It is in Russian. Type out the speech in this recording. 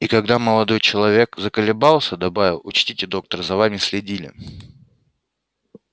и когда молодой человек заколебался добавил учтите доктор за вами следили